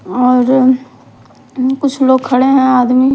और अ कुछ लोग खड़े हैं आदमी --